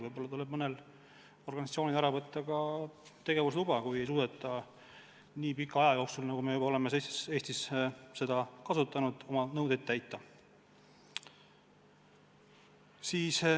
Võib-olla tuleb mõnelt organisatsioonilt tegevusluba ära võtta, kui pole suudetud nii pika aja jooksul, kui me oleme Eestis seda süsteemi kasutanud, nõudeid täita.